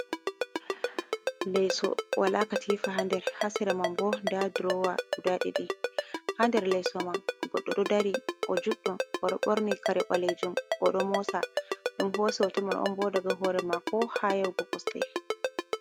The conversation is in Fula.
Leso walakatifa ha nder, hasera manbo nda drowa guda ɗiɗi, ha nder lesoman goɗɗo ɗodari, o juɗɗo oɗo ɓorni kare ɓalejun odo mosa, ɗun hosi hotomanbo daga hore mako hayau go kosde.